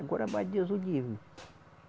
Agora, mais Deus o livre.